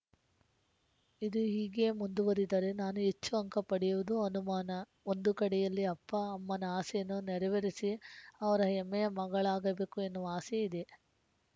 ಇದು ಹೀಗೆಯೇ ಮುಂದುವರೆದರೆ ನಾನು ಹೆಚ್ಚು ಅಂಕ ಪಡೆಯುವುದು ಅನುಮಾನ ಒಂದು ಕಡೆಯಲ್ಲಿ ಅಪ್ಪ ಅಮ್ಮನ ಆಸೆಯನ್ನು ನೆರವೇರಿಸಿ ಅವರ ಹೆಮ್ಮೆಯ ಮಗಳಾಗಬೇಕು ಎನ್ನುವ ಆಸೆ ಇದೆ